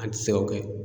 An ti se ka kɛ